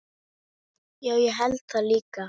Já, ég held það líka.